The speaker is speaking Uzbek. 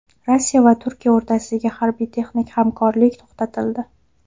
Rossiya va Turkiya o‘rtasidagi harbiy-texnik hamkorlik to‘xtatildi.